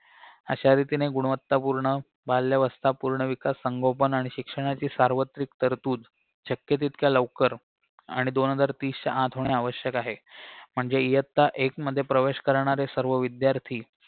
अशा रीतीने गुणवत्तापुर्ण बाल्यावस्था पुर्णविकास संगोपन आणि शिक्षणाची सार्वत्रिक तरतूद शक्य तितक्या लवकर आणि दोन हजार तीसच्या आत होणे आवश्यक आहे म्हणजे इयत्ता एक मध्ये प्रवेश करणारे सर्व विद्यार्थी